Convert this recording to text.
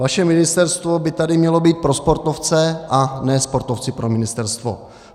Vaše ministerstvo by tady mělo být pro sportovce, a ne sportovci pro ministerstvo.